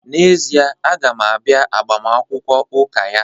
N'ezie, m ga-abịa agbamakwụkwọ ụka ya?